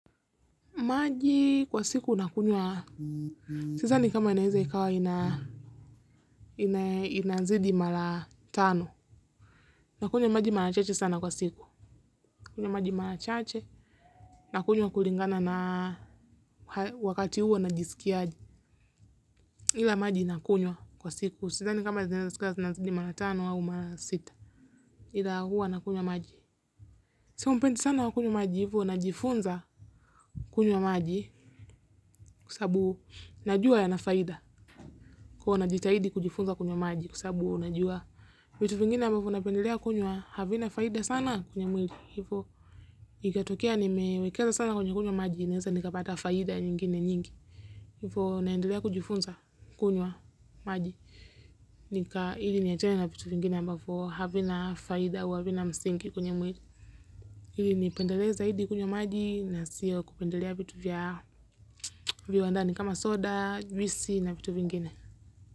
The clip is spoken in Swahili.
Maji kwa siku nakunywa. Sidhani kama inaweza ikawa ina inazidi mara tano. Nakunywa maji mara chache sana kwa siku. Nakunywa maji mara chache. Nakunywa kulingana na wakati huwa najisikiaje. Ila maji nakunywa kwa siku. Sidhani kama zinaeza zinazidi mara tano au mara sita. Illa huwa nakunywa maji. Sio mpenzi sana wa kunywa maji hivyo najifunza kunywa maji kwa sabu najua yana faida. Kwa hio huwa najitahidi kujifunza kunywa maji kwa sasabu najua vitu vingine ambavyo napendelea kunywa havina faida sana kwenye mwili hivyo ikatokea nimewekeza sana kwenye kunywa maji naeza nikapata faida nyingine nyingi. Hivyo naendelea kujifunza kunywa maji ili niliachane na vitu vingine ambavyo havina faida au havina msingi kwenye mwili ili nipendele zaidi kunywa maji na sio kupendelea vitu vya viwandani kama soda, juisi na vitu vingine.